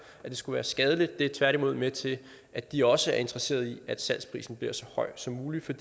at det skulle være skadeligt det er tværtimod med til at de også er interesseret i at salgsprisen bliver så høj som muligt for